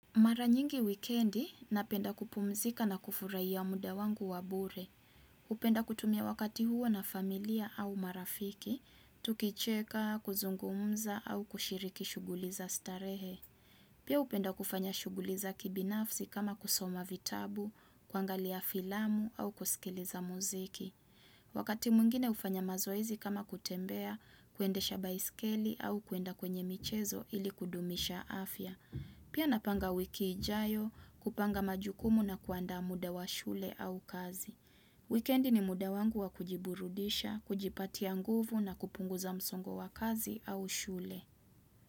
Mara nyingi wikendi, napenda kupumzika na kufurahia muda wangu wa bure. Upenda kutumia wakati huo na familia au marafiki, tukicheka, kuzungumza au kushiriki shuguli za starehe. Pia upenda kufanya shuguli za kibinafsi kama kusoma vitabu, kwangalia filamu au kusikiliza muziki. Wakati mwngine ufanya mazoize kama kutembea, kuendesha baiskeli au kwenda kwenye michezo ili kudumisha afya. Pia napanga wiki ijayo, kupanga majukumu na kuandaa muda wa shule au kazi. Weekendi ni muda wangu wa kujiburudisha, kujipatia nguvu na kupunguza msongo wa kazi au shule.